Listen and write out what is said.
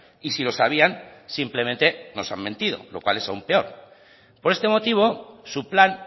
y si lo sabían simplemente nos han mentido lo cual es aún peor por este motivo su plan